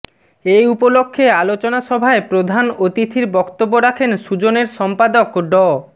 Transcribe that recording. এ উপলক্ষ্যে আলোচনা সভায় প্রধান অতিথির বক্তব্য রাখেন সুজনের সম্পাদক ড